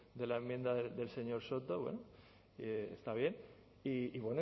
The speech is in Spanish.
de la enmienda del señor soto bueno está bien y